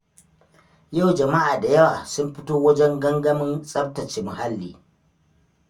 Yau jama'a da yawa sun fito wajen gangamin tsaftace muhalli.